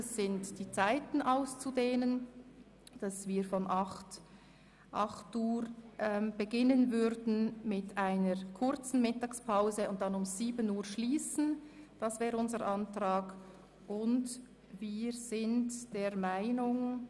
Wie empfehlen Ihnen, die Zeiten auszudehnen, sodass wir um 8.00 Uhr beginnen, eine kurze Mittagspause einlegen und um 19.00 Uhr schliessen würden.